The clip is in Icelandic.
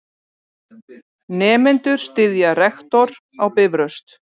Nemendur styðja rektor á Bifröst